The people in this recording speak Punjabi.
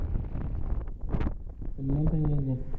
ਕਿੰਨੇ ਪਏ ਅਜੇ